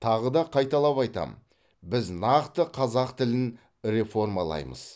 тағы да қайталап айтамын біз нақты қазақ тілін реформалаймыз